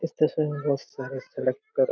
इस तस्वीर में बहोत सारे सिलेकर---